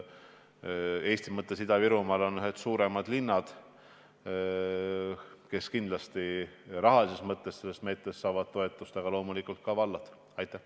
Eesti mõttes on Ida-Virumaal ühed suurimad linnad, kes rahalises mõttes saavad sellest meetmest kindlasti toetust, aga loomulikult saavad toetust ka vallad.